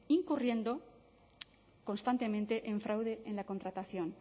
incurriendo constantemente en fraude en la contratación